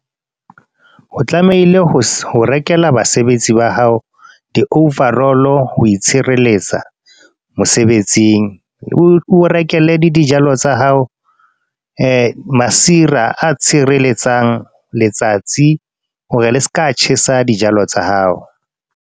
O tlamehile ho ho rekela basebetsi ba hao, di-overall ho itshireletsa, mosebetsing. O rekele le dijalo tsa hao masira a tshireletsang, letsatsi ho re le seka tjhesa dijalo tsa hao.